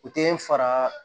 U tɛ fara